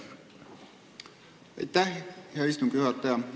Aitäh, hea istungi juhataja!